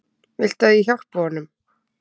Viltu að ég hjálpi honum?